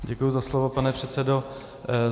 Děkuji za slovo, pane předsedo.